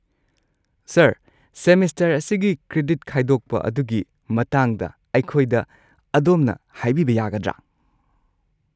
Sir, semester ꯑꯁꯤꯒꯤ credit ꯈꯥꯏꯗꯣꯛꯄ ꯑꯗꯨꯒꯤ ꯃꯇꯥꯡꯗ ꯑꯩꯈꯣꯏꯗ ꯑꯗꯣꯝꯅ ꯍꯥꯏꯕꯤꯕ ꯌꯥꯒꯗ꯭ꯔꯥ?